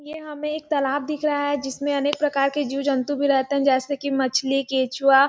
ये हमें एक तालाब दिख रहा हैजिसमें अनेक प्रकार के जीव -जन्तु भी रहते है जैसे कि मछली केंचुआ --